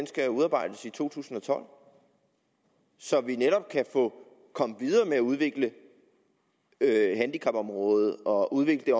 skal udarbejdes i to tusind og tolv så vi netop kan komme videre med at udvikle handicapområdet og udvikle